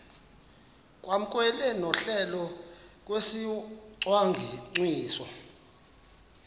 kwamkelwe nohlelo lwesicwangciso